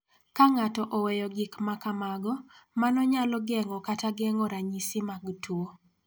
Ka ng�ato oweyo gik ma kamago, mano nyalo geng�o kata geng�o ranyisi mag tuo.